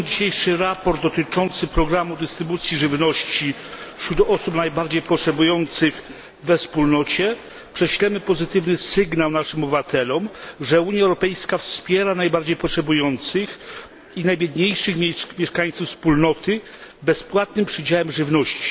Przyjmując dzisiejsze sprawozdanie dotyczące programu dystrybucji żywności wśród osób najbardziej potrzebujących we Wspólnocie, prześlemy pozytywny sygnał naszym obywatelom, że Unia Europejska wspiera najbardziej potrzebujących i najbiedniejszych mieszkańców Wspólnoty bezpłatnym przydziałem żywności.